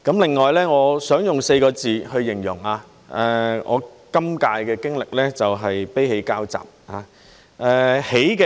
另外，我想用4個字去形容我今屆的經歷，就是"悲喜交集"。